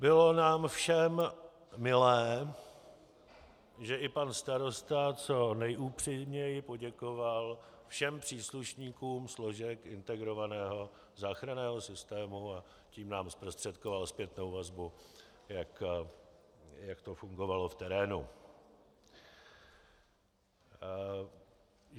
Bylo nám všem milé, že i pan starosta co nejupřímněji poděkoval všem příslušníkům složek integrovaného záchranného systému, a tím nám zprostředkoval zpětnou vazbu, jak to fungovalo v terénu.